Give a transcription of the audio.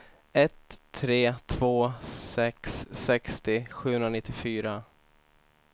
ett tre två sex sextio sjuhundranittiofyra